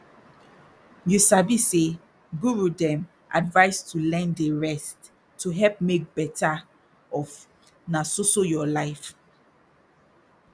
you sabi say guru dem advise to learn dey rest to help make better of na so so your life